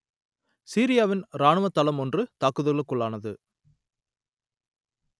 சிரியாவின் இராணுவத் தளம் ஒன்று தாக்குதலுக்குள்ளானது